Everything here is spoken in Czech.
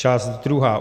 Část druhá.